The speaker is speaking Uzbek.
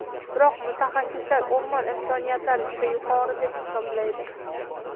Biroq mutaxassislar o‘rmon imkoniyatlari juda yuqori deb hisoblaydi.